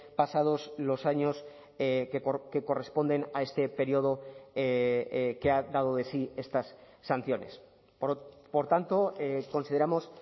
pasados los años que corresponden a este periodo que ha dado de sí estas sanciones por tanto consideramos